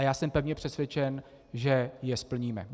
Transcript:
A já jsem pevně přesvědčen, že je splníme.